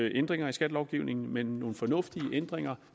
ændringer i skattelovgivningen men nogle fornuftige ændringer